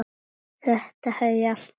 Þetta hef ég alltaf sagt!